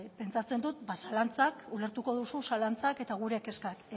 ulertuko duzu zalantzak eta gure kezkak